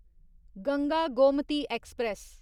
Ganga Gomti express